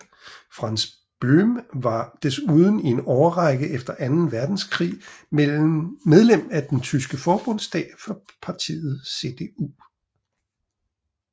Franz Böhm var desuden i en årrække efter anden verdenskrig medlem af den tyske forbundsdag for partiet CDU